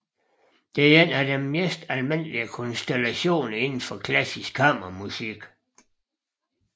Det er en af de mest almindelige konstallationer inden for klassisk kammermusik